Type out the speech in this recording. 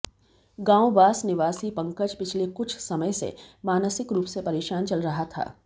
गांव बास निवासी पंकज पिछले कुछ समय से मानसिक रूप से परेशान चल रहा था